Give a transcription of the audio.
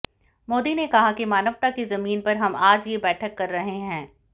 मोदी ने कहा कि मानवता की जमीन पर हम आज ये बैठक कर रहे हैं